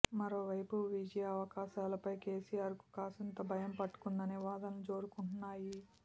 మరోవైపు విజయావకాశాలపై కేసీఆర్ కు కాసింత భయం పట్టుకుందనే వాదనలు జోరందుకున్నాయి